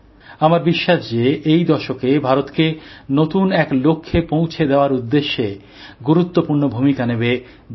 আমার বিশ্বাস যে এই দশকে ভারতকে নতুন এক লক্ষ্যে পৌঁছে দেওয়ার উদ্দেশ্যে গুরুত্বপূর্ণ ভূমিকা নেবে ২০২০